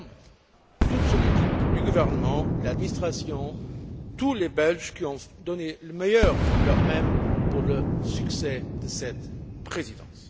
Leterme, toute son équipe du gouvernement, l'administration, tous les Belges qui ont donné le meilleur d'eux mêmes pour le succès de cette Présidence.